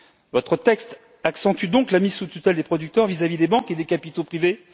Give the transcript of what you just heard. Votre texte accentue donc la mise sous tutelle des producteurs vis à vis des banques et des capitaux privés.